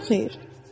Günün xeyir.